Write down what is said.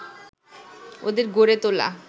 ওদের গড়ে তোলা